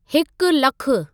हिकु लखु